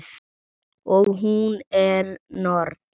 Og hún er norn.